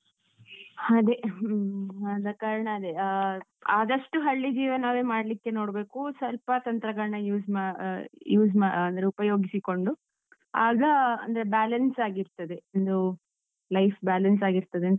ಅದೇ, ಹ್ಮೂ ಆದ ಕಾರಣ ಅದೇ ಆಹ್ ಆದಷ್ಟು ಹಳ್ಳಿ ಜೀವನವೇ ಮಾಡ್ಲಿಕ್ಕೆ ನೋಡ್ಬೇಕು. ಸ್ವಲ್ಪ ತಂತ್ರಗಳ್ನ use ಮ ಆಹ್ use ಮ ಅಂದ್ರೆ ಉಪಯೋಗಿಸಿಕೊಂಡು, ಆಗ ಅಂದ್ರೆ balance ಆಗಿರ್ತದೆ. ಒಂದು, life balance ಆಗಿರ್ತದೆಂತ